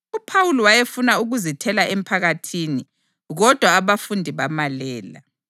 UPhawuli wayefuna ukuzithela emphakathini, kodwa abafundi bamalela.